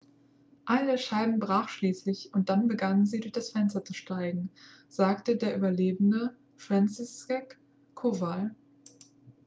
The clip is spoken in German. eine der scheiben brach schließlich und dann begannen sie durch das fenster zu steigen sagte der überlebende franciszek kowal